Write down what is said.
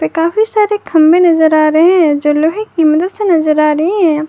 काफी सारे खंभे में नजर आ रहे हैं जो लोहे की मदद से नजर आ रहे है।